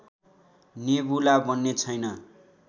nebula बन्ने छैन